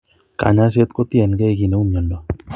Kanyaiset ko tien gee kii neu mnyondo